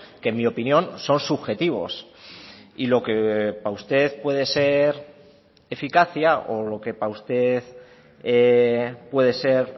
que en mi opinión son subjetivos y lo que para usted puede ser eficacia o lo que para usted puede ser